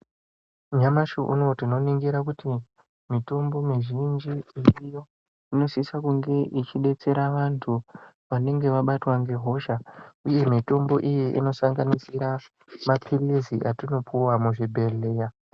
Nyamashi unouwu tinoningira kuti mitombo mizhinji iriyo inosisa kunge ichidetsera vanhu vanenge vabatwa ngehosha uye mutombo iyi inosangasira mapilizi atinopuwa muzvibhedhlera .